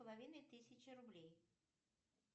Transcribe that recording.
половиной тысячи рублей